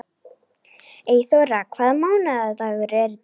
Eyþóra, hvaða mánaðardagur er í dag?